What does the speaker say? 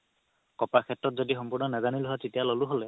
copper সেত্ৰত যদি সমবুধই নাজানিলো হয় তেতিয়া ল'লো হ'লে